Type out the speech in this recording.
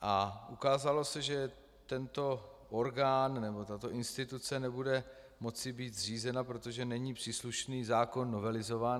A ukázalo se, že tento orgán nebo tato instituce nebude moci být zřízena, protože není příslušný zákon novelizován.